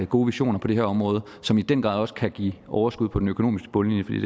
gode visioner på det her område som i den grad også kan give overskud på den økonomiske bundlinje